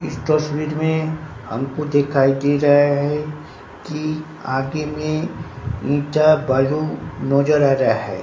इस तस्वीर में हमको दिखाई दे रहा है कि आगे में ईंटा बालू नजर आ रहा है।